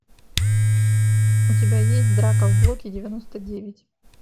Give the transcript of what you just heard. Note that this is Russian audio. у тебя есть драка в блоке девяносто девять